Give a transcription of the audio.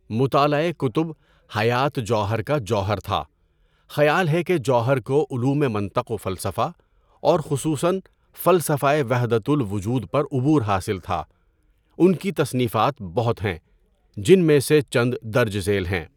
مطالعۂ کتب حیات جوہر کا جوہر تھا، خیال ہے کہ جوہر کو علومِ منطق و فلسفہ اور خصوصاً فلسفۂ وَحْدَۃُ الْوُجُود پر عبور حاصل تھا۔ ان کی تصنیفات بہت ہیں، جن میں سے چند درج ذیل ہیں۔